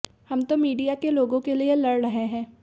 हम तो मीडिया के लोगों के लिए लड़ रहे हैं